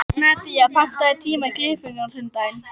Nadía, pantaðu tíma í klippingu á sunnudaginn.